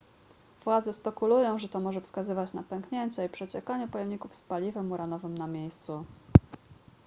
władze spekulują że to może wskazywać na pęknięcie i przeciekanie pojemników z paliwem uranowym na miejscu